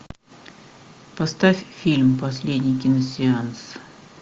поставь фильм последний киносеанс